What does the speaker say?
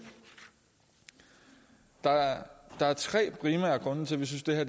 der er der er tre primære grunde til at vi synes det her